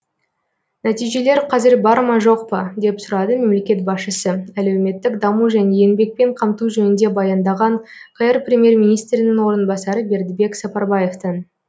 нәтижелер қазір бар ма жоқ па деп сұрады мемлекет басшысы әлеуметтік даму және еңбекпен қамту жөнінде баяндаған қр премьер министрінің орынбасары бердібек сапарбаевтан